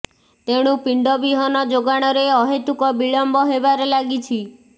ତେଣୁ ପିଣ୍ଡ ବିହନ ଯୋଗାଣରେ ଅହେତୁକ ବିଳମ୍ବ ହେବାରେ ଲାଗିଛି